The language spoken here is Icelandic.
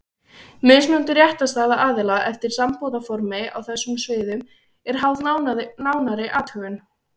Mismunandi réttarstaða aðila eftir sambúðarformi á þessum sviðum er háð nánari athugun.